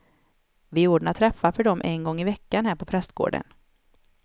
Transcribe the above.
Vi ordnar träffar för dem en gång i veckan här på prästgården.